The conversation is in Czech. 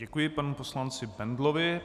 Děkuji panu poslanci Bendlovi.